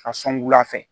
A sɔngɔ fɛ